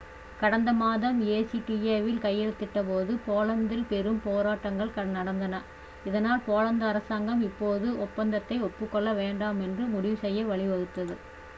கடந்த மாதம் acta வில் கையெழுத்திட்டபோது போலந்தில் பெரும் போராட்டங்கள் நடந்தன இதனால் போலந்து அரசாங்கம் இப்போது ஒப்பந்தத்தை ஒப்புக் கொள்ள வேண்டாம் என்று முடிவு செய்ய வழிவகுத்தது